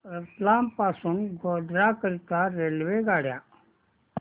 रतलाम पासून गोध्रा करीता रेल्वेगाड्या